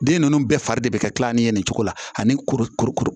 Den ninnu bɛɛ fari de bɛ ka kila ni ye nin cogo la ani kuru kurukuru